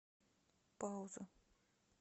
пауза